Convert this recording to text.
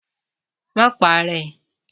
Ma para ẹ!